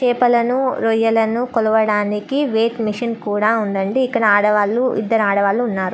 చేపలను రొయ్యలను కొలవడానికి వెయిట్ మిషన్ కూడా ఉండండి ఇక్కడ ఆడవాళ్ళు ఇద్దరు ఆడవాళ్ళు ఉన్నారు.